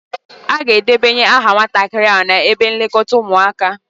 A ga-edebanye aha nwatakịrị ahụ n'ebe nlekọta ụmụaka.